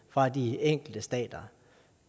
fra de enkelte stater